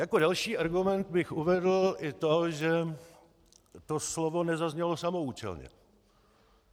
Jako další argument bych uvedl i to, že to slovo nezaznělo samoúčelně.